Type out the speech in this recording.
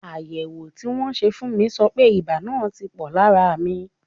Àyẹ̀wò tí wọ́n ṣe fún mi sọ pé ibà náà ti pò lára mi.